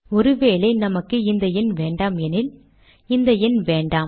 ஒரு வேளை நமக்கு இந்த எண் வேண்டாம் எனில் இந்த எண் வேண்டாம்